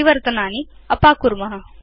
परिवर्तनानि अपाकुर्म